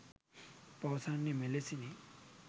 පවසන්නේ මෙලෙසිනි